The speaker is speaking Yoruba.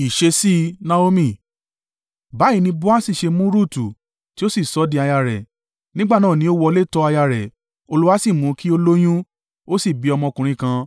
Báyìí ni Boasi ṣe mú Rutu, tí ó sì di aya rẹ̀. Nígbà náà ni ó wọlé tọ aya rẹ̀, Olúwa sì mú kí ó lóyún, ó sì bí ọmọ ọkùnrin kan.